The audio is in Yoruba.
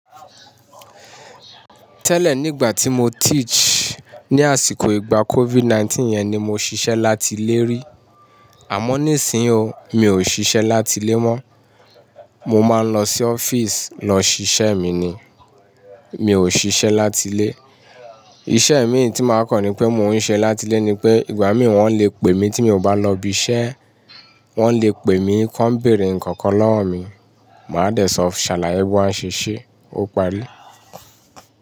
"Tẹ́lẹ̀ nígbà tí mo teach ní àsìkò ìgbà COVID-19 yẹn ni mo ṣiṣẹ́ láti ilé rí. Àmọ́ nísìnyí o, mi ò ṣiṣẹ́ láti ilé mọ́. Mo máa ń lọ sí offisi lọ ṣiṣẹ́ mi ni. Mi ò ṣiṣẹ́ láti ilé. Iṣẹ́ mìí tí máa kan ni pé mo ń ṣe láti ilé ni pé ìgbà mi wọ́n lè pè mí tí mi ò bá lọ ibi iṣẹ́ wọ́n lè pè mí kí wọ́n bèèrè ǹkan kan lọ́wọ́ mi, màá dẹ̀ sọ sàlàyé bí wọ́n a ṣe ṣe." Ó parí.